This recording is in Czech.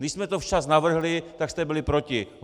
Když jsme to včas navrhli, tak jste byli proti.